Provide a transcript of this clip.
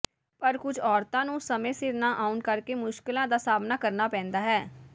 ਪਰ ਕੁਝ ਔਰਤਾਂ ਨੂੰ ਸਮੇਂ ਸਿਰ ਨਾ ਆਉਣ ਕਰਕੇ ਮੁਸ਼ਕਲਾਂ ਦਾ ਸਾਹਮਣਾ ਕਰਨਾ ਪੈਂਦਾ ਹੈ